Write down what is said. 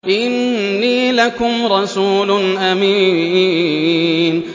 إِنِّي لَكُمْ رَسُولٌ أَمِينٌ